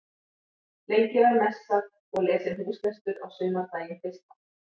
Lengi var messað og lesinn húslestur á sumardaginn fyrsta.